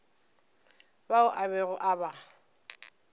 bao a bego a ba